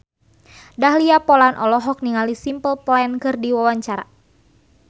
Dahlia Poland olohok ningali Simple Plan keur diwawancara